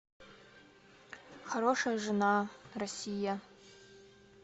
хорошая жена россия